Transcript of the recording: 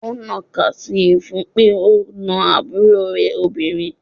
Ó ń ná ka sii fún pé ó na àbúrò rè lobinrin.